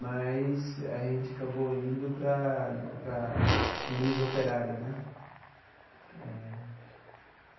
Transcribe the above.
Mas a gente acabou indo para para a Liga Operária, né?